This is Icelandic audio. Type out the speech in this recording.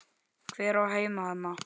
Hver á heima þarna?